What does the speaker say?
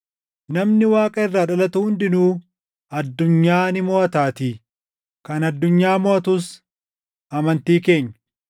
Namni Waaqa irraa dhalatu hundinuu addunyaa ni moʼataatii. Kan addunyaa moʼatus amantii keenya.